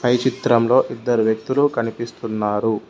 పై చిత్రంలో ఇద్దరు వ్యక్తులు కనిపిస్తున్నారు.